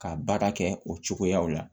Ka baara kɛ o cogoyaw la